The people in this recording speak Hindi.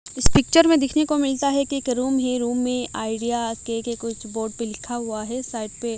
इस पिक्चर में देखने को मिलता है कि रूम है रूम में आइडिया के के कुछ बोर्ड पे लिखा हुआ है साइड पे--